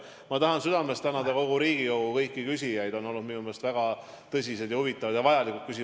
Ma tahan südamest tänada kõiki Riigikogu küsijaid, minu meelest on olnud väga tõsised, huvitavad ja vajalikud küsimused.